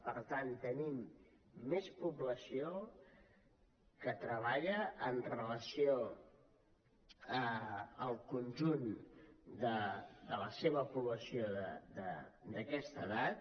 per tant tenim més població que treballa amb relació al conjunt de la seva població d’aquesta edat